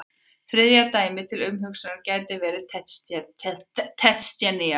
Þriðja dæmið til umhugsunar gæti verið Tsjetsjenía.